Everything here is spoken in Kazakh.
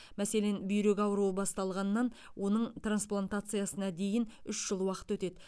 мәселен бүйрек ауруы басталғаннан оның трансплантациясына дейін үш жыл уақыт өтеді